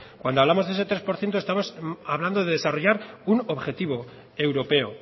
cuando hablamos de ese tres por ciento estamos hablando de desarrollar un objetivo europeo